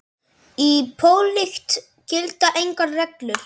Í pólitík gilda engar reglur.